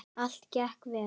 Allt gekk vel.